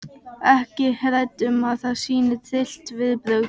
Ekki hrædd um að sýna tryllt viðbrögð.